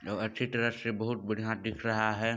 अच्छी तरह से बहुत बढ़िया दिख रहा है।